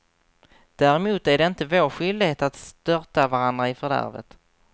Däremot är det inte vår skyldighet att störta varandra i fördärvet.